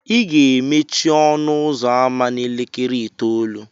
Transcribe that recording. ị ga-emechi ọnụ ụzọ ámá a n'elekere itoolu